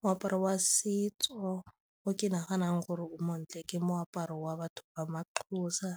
Moaparo wa setso o ke naganang gore o montle ke moaparo wa batho ba ma-Xhosa